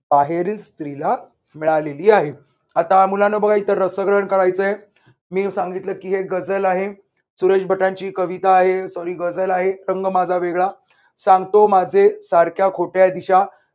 बाहेरील स्त्रीला मिळालेली आहे. आता मुलांनो बघा. इथं रसग्रहण करायचंय. मी सांगितलं की हे गझल आहे. सुरेश भटांची ही कविता आहे. sorry गझल आहे. रंग माझा वेगळा सांगतो माझे सारख्या खोटया दिशा